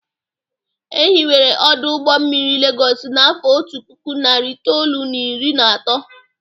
E hiwere ọdụ ụgbọ mmiri Legọs n'afọ otu puku, nari itoolu, na iri na atọ.